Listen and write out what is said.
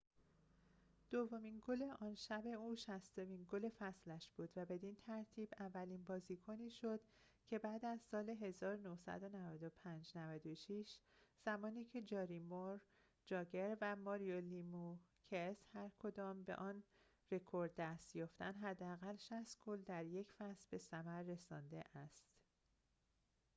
دومین گل آن شب او شصتمین گل فصلش بود و بدین ترتیب اولین بازیکنی شد که بعد از سال ۹۶-۱۹۹۵ زمانی که جارومیر جاگر و ماریو لمیوکس هرکدام به آن رکورد دست یافتند حداقل ۶۰ گل در یک فصل به ثمر رسانده است